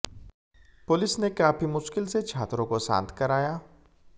police ने काफी मुश्किल से छात्रों को शांत कराया